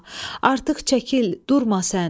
Artıq çəkil, durma sən.